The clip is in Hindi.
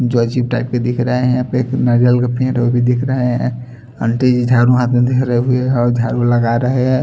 जो अजीब टाइप के दिख रहे है। यहाँ पे एक नारियल का पेड़ है वो भी दिख रहा है। अंटी जी झाड़ू हाथ में दिख रे उ भी झाडू लगा रहे है।